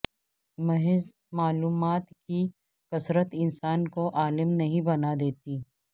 محض معلومات کی کثرت انسان کو عالم نھیں بنا دیتی